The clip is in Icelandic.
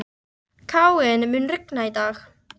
Káinn, mun rigna í dag?